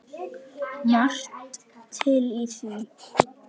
Margt til í því.